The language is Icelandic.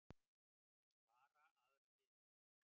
Vill vara aðra við